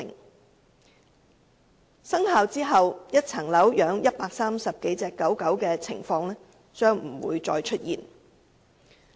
在《修訂規例》生效後，一個單位飼養130多隻狗隻的情況將不會再出現。